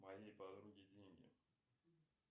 моей подруге деньги